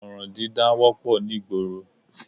Ọ̀ràn dídá wọ́pọ̀ ní ìgboro